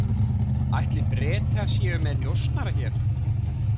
Ætli Bretar séu með njósnara hér?